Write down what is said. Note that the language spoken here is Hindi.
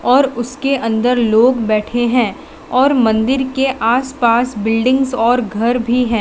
और उसके अंदर लोग बैठे हैं और मंदिर के आस पास बिल्डिंग्स और घर भी है।